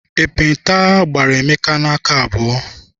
Ekpenta gbara Emeka n'aka abụọ.